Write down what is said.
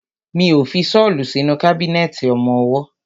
Mi ó fi ṣọ́lù sínú kábínẹ̀tì ọmọwọ́.